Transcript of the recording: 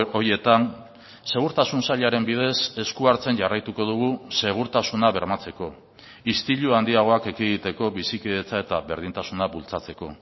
horietan segurtasun sailaren bidez esku hartzen jarraituko dugu segurtasuna bermatzeko istilu handiagoak ekiditeko bizikidetza eta berdintasuna bultzatzeko